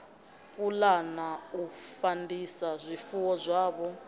pulana u fandisa zwifuwo zwavho